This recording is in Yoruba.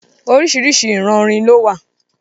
Oríṣiríṣi ìran orin lówà.